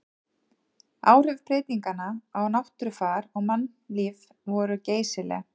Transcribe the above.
Áhrif breytinganna á náttúrufar og mannlíf voru geysileg.